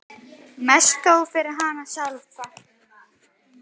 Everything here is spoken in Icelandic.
Mest þó fyrir hana sjálfa.